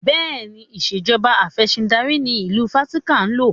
Bẹ́ẹ̀ni, ìṣèjọba Afẹ̀sìndarí ni ìlú Vatican ń lò.